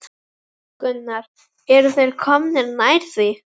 Gunnar: Eru þeir komnir nær því?